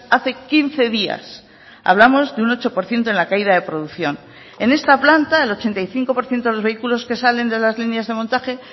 hace quince días hablamos de un ocho por ciento en la caída de producción en esta planta el ochenta y cinco por ciento de los vehículos que salen de las líneas de montaje